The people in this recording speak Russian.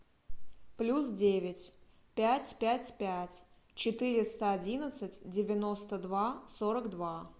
плюс девять пять пять пять четыреста одиннадцать девяносто два сорок два